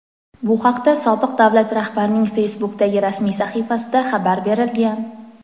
Bu haqda sobiq davlat rahbarining Facebook’dagi rasmiy sahifasida xabar berilgan.